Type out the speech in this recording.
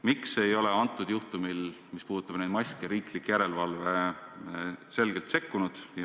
Miks ei ole praegusel juhtumil, mis puudutab maske, riiklik järelevalve selgelt sekkunud?